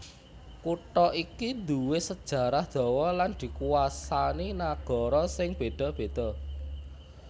Kutha iki nduwé sajarah dawa lan dikuwasani nagara sing béda béda